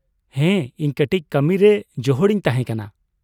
ᱦᱮᱸ, ᱤᱧ ᱠᱟᱹᱴᱤᱪ ᱠᱟᱹᱢᱤ ᱨᱮ ᱡᱚᱦᱚᱲ ᱤᱧ ᱛᱟᱦᱮᱸ ᱠᱟᱱᱟ ᱾